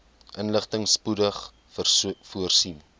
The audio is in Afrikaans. inligting spoedig voorsien